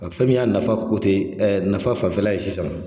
Ɔ fɛn min y'a nafa o ten ɛ nafa fanfɛla ye sisan.